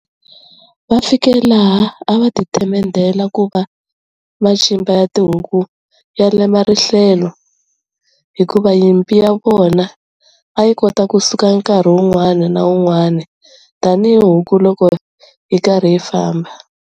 Va fike laha a va ti themendela ku"va macimba ya tihuku ya lema rihlelo" hikuva nyimpi ya vona a yi kota ku suka nkarhi wun'wani na wun'wani tani hi huku loko yi karhi yi famba.